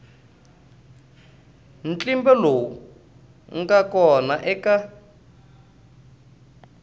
ntlimbo lowu nga kona eka